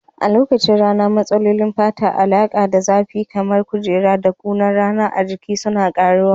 A lokacin rani, matsalolin fata masu alaƙa da zafi kamar kuraje da kunar rana a jiki suna ƙaruwa.